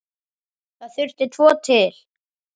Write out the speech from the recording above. Það þurfti tvo til.